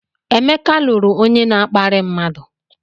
Emeka lụrụ onye na-akparị mmadụ.